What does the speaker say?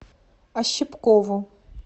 ощепкову